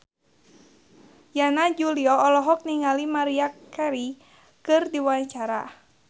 Yana Julio olohok ningali Maria Carey keur diwawancara